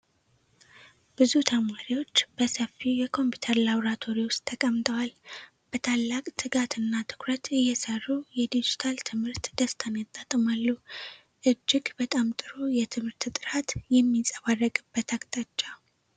ብዙ ተማሪዎች በሰፊው የኮምፒውተር ላብራቶሪ ውስጥ ተቀምጠዋል። በታላቅ ትጋትና ትኩረት እየሰሩ የዲጂታል ትምህርት ደስታን ያጣጥማሉ። እጅግ በጣም ጥሩ የትምህርት ጥራት የሚንፀባረቅበት አቅጣጫ።